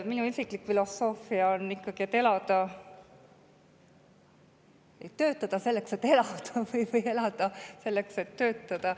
Minu isiklik filosoofia on ikkagi, et töötada tuleb selleks, et elada.